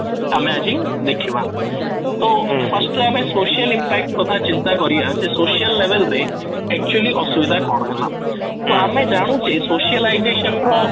ଆମେ ଆଜି ଦେଖିବା ତ first ତ ଆମେ social impact କଥା ଚିନ୍ତା କରିବା କି social level ରେ actually ଅସୁବିଧା କ'ଣ ହେଲା ? ତ ଆମେ ଜାଣୁଛେ socialization ର